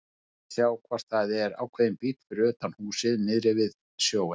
Rétt að sjá hvort það er ákveðinn bíll fyrir utan húsið niðri við sjóinn.